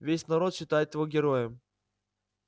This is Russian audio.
весь народ считает его героем